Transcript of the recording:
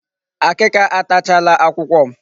Akịka atachaala akwụkwọ m.